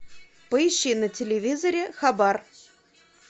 поищи на телевизоре хабар